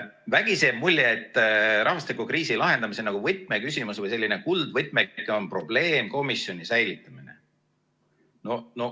Vägisi jääb mulje, et rahvastikukriisi lahendamise võtmeküsimus või selline kuldvõtmeke on probleemkomisjoni säilitamine.